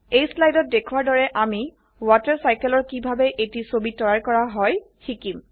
এই স্লাইডত দেখোৱাৰ দৰে আমি ৱাটাৰ cycleৰ কিভাবে এটি ছবি তৈয়াৰ কৰা হয় শিকিম